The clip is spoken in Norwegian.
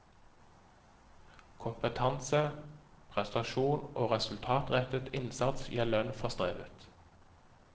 Kompetanse, prestasjon og resultatrettet innsats gir lønn for strevet.